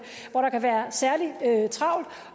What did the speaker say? hvor der kan være særlig travlt